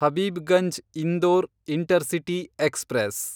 Habibganj Indore intercity express